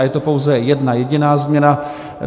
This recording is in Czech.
A je to pouze jedna jediná změna.